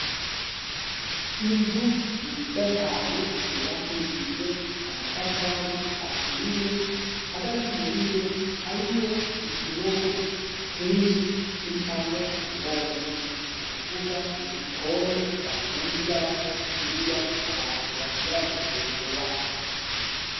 inzu nziza cane yobakishijwe amatafari aturiye hagati muriyo hariyo utunogo twinshi ducamwo umwotsi nu kuvuga nigikone bacumbiramwo indya abantu bashobora gufungura